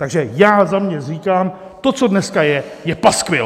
Takže já za sebe říkám: To, co dneska je, je paskvil!